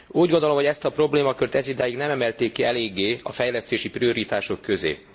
Úgy gondolom, hogy ezt a problémakört ezidáig nem emelték ki eléggé a fejlesztési prioritások közé.